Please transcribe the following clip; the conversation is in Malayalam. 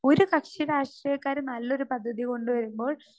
സ്പീക്കർ 2 ഒരു കക്ഷിരാഷ്ട്രീയക്കാര് നല്ലൊരു പദ്ധതി കൊണ്ടുവരുമ്പോൾ